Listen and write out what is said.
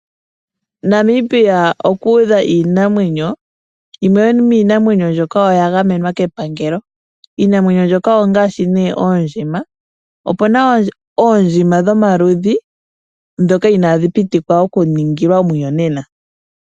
Namibia oku udha iinamwenyo. Yimwe yomiinamwenyo mbyoka oya gamenwa kepangelo. Iinamwenyo mbyoka ongaashi nee oondjima. Opu na oondjima dhomaludhi ndhoka inadhi pitikilwa oku ningilwa omuyonena.